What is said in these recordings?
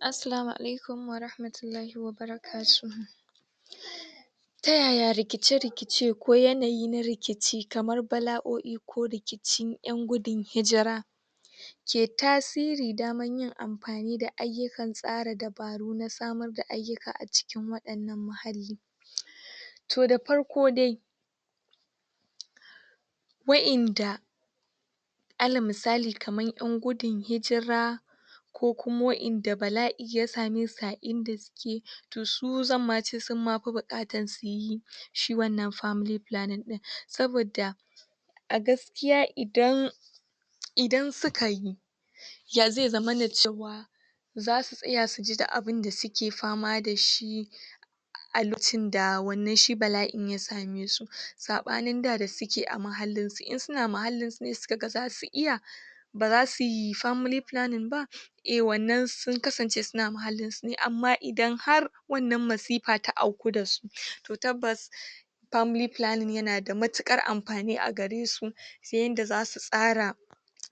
Aslamu alaikum warahmatullahi wa barakatuhu Ta yaya rikice-rikice ko yanayi na rikici kamar bala'o'i ko rikicin ƴan gudun hijira ke tasiri daman yin amfani da ayyukan tsara dabaru na samarda ayyuka a cikin waɗannan muhalli, to da farko dai wa'inda alal misali kamar ƴan gudun hijira ko kuma wa'inda bala'i ya same su a inda suke to su zamma ce summa fi buƙatan siyi shi wannan family planning ɗin, sabadda a gaskiya idan idan sikayi ya ze zamana cewa zasu tsaya su ji da abinda suke fama da shi a lokacinda wannan shi ba; a'in ya same su, saɓanin da da suke a mahallinsu, in suna mahallinsu suka ga zasu iya ba zasi family planning ba eh wannan sun kasance suna muhalinsu ne amma idan har wannan masifa ta auku da su to tabbas family planning yana da matuƙar amfani a garesu ta yanda zasu tsara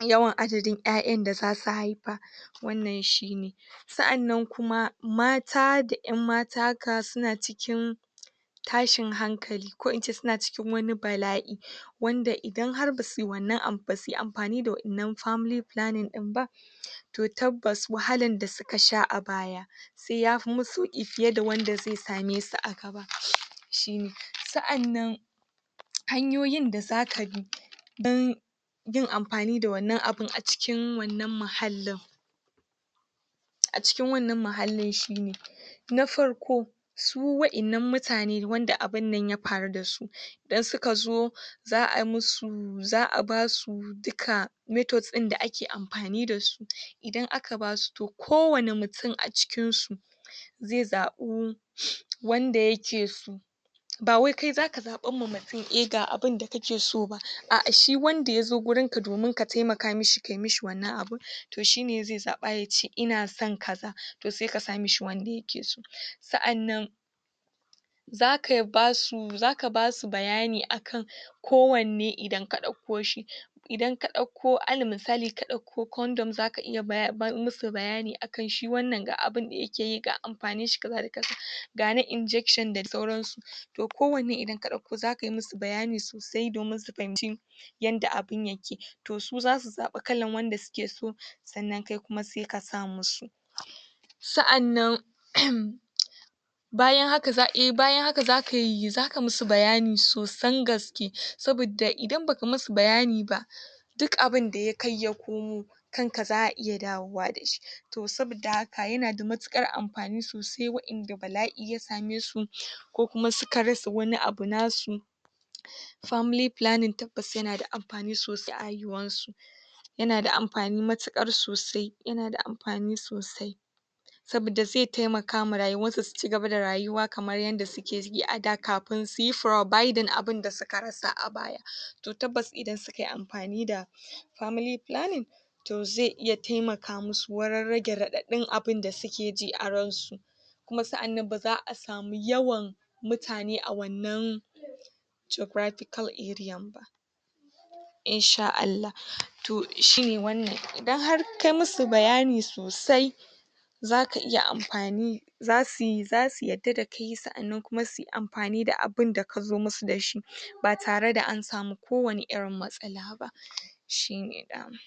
yawan adadin ƴaƴanda zasu haifa wannan shine, sa'annan kuma mata da ƴan mata ka suna cikin tashin hankali ko in ce suna cikin wani bala'i, wanda idan har basi wannan am basi amfani da wa'inan family planning ɗin ba; to tabbas wahalan da suka sha a baya se yafi masu sauƙi fiye da wanda ze same su a gaba, shine sa'annan hanyoyin da zaka bi dan yin amfani da wannan abun a cikin wannan mahallin, a cikin wannan mahallin shine: Na farko: Su wa'innan mutane wanda abunnan ya faru da su da suka zo za'a musu za'a basu dika methods ɗinda ake amfani da su, idan aka basu to kowane mutin a cikin su ze zaɓu wanda yake so, ba wai kai zaka zaɓamma mutin eh ga abinda kake so ba, a'a shi wanda ya zo gurinka domin ka temaka mashi kai mashi wannan abun to shine ze zaɓa ya ce ina son kaza, to se ka sa mashi wanda yake so, sa'annan zaka basu zaka basu bayani akai kowanne idan ka ɗakko shi, idan ka ɗakko alal misali ka ɗakko condom zaka iya ba masu bayani akan shi wannan ga abunda yake yi ga amfaninshi kaza da kaza ga na injection da sauransu, to kowane idan ka ɗauko zakai masu bayani sosai domin su fahimci yanda abun yake to su zasu zaɓi kalan wanda suke so sannan kai kuma se ka sa masu, sa'annan um bayan haka za'ai bayan haka zakai zaka masu bayani sosan gaske sabidda idan ba ka masu bayani ba dik abunda ya kai ya komo kanka za'a iya dawowa da shi, to sabidda haka yana da muƙarar amfani sosai wa'inda bala'i ya same su ko kuma suka rasa wani abu nasu family planning tabbas yana da amfani sosai a haihuwansu, yana da amfani matuƙar sosai yana da amfani sosai, sabidda ze temakama rayuwarsu su cigaba da rayuwa kamar yanda suke ji ada kafin suyi providing abinda suka rasa a baya, to tabbas idan sukai amfani da family planning to ze iya temaka masu wurin rage raɗaɗin abinda suke ji a ransu, kuma sa'annan baza'a samu yawan mutane a wannan geographical ariyan ba In sha Allah, to shine wannan idan har kai masu bayani sosai zaka iya amfani zasi zasu yarda da kai kuma sa'annan si amfani da abinda kazo masu da shi ba tare da an samu kowane irin matsala ba shine dama.